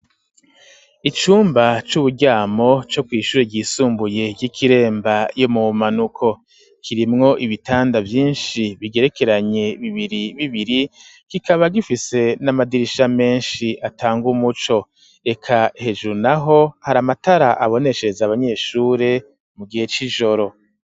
Icumba c'uburyamo co kw'ishure ryisumbuye ry'ikiremba yo mu manuko kirimwo ibitanda byinshi bigerekeranye bibiri bibiri kikaba gifise n'amadirisha menshi atanga umuco reka hejuru naho hari amatara aboneshereza abanyeshure mu gihe c'ijoro.